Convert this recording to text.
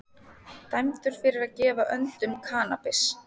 Dæmdur fyrir að gefa öndum kannabis